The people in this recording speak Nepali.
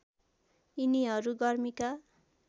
यिनीहरू गर्मीका